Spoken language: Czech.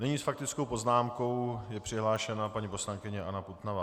Nyní s faktickou poznámkou je přihlášena paní poslankyně Anna Putnová.